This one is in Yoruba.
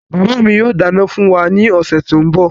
Bàbá mi yóò dáná fún wa ní ọ̀sẹ̀ tí ń bọ̀.